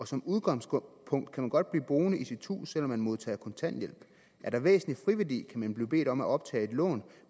som udgangspunkt kan man godt blive boende i sit hus selv om man modtager kontanthjælp er der væsentlig friværdi man blive bedt om at optage et lån